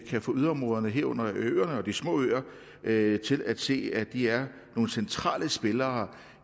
kan få yderområderne herunder ørerne og de små øer til at se at de er nogle centrale spillere